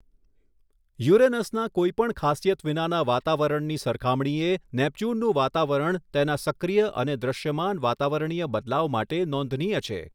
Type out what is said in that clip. યુરેનસના કોઈપણ ખાસિયત વિનાના વાતાવરણની સરખામણીએ નેપચ્યુનનું વાતાવરણ તેના સક્રીય અને દૃશ્યમાન વાતાવરણીય બદલાવ માટે નોંધનીય છે.